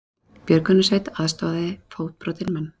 Björgunarsveit aðstoðaði fótbrotinn mann